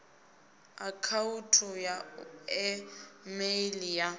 akhauthu ya e meili ya